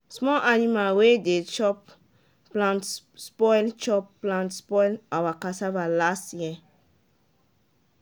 small animal wey de chop plant spoil chop plant spoil our cassava last year